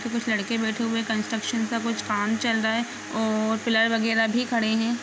कुछ लड़के बैठे हुए है कंस्ट्रक्शन का कुछ काम चल रहा है और प्लाई वगेरा भी खड़े है।